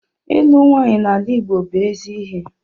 Ịlụ nwanyị n'ala Igbo bú ezi ihe